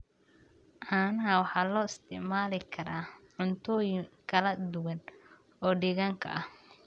Caanaha waxaa loo isticmaali karaa cuntooyin kala duwan oo deegaanka ah.